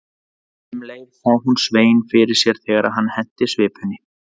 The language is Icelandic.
Um leið sá hún Svein fyrir sér þegar hann henti svipunni.